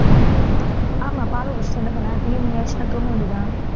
ஆமாம் பாலை குடிச்சிட்டு என்ன பண்ண evening ஆயிடுச்சுன்னா தூங்க வேண்டியதுதான்